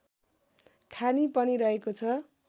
खानि पनि रहेको छ